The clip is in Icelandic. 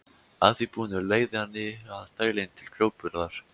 Að því búnu leigði hann nýja þrælinn til grjótburðar.